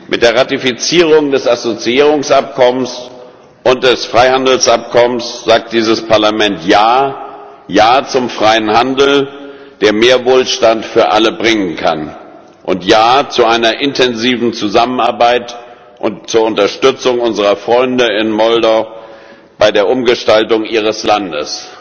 Mit der Ratifizierung des Assoziierungsabkommens und des Freihandelsabkommens sagt dieses Parlament Ja Ja zum freien Handel, der mehr Wohlstand für alle bringen kann, und Ja zu einer intensiven Zusammenarbeit und zur Unterstützung unserer Freunde in Moldau bei der Umgestaltung ihres Landes.